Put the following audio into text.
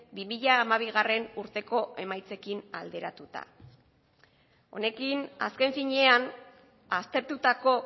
bi mila hamabiurteko emaitzekin alderatuta honekin azken finean aztertutako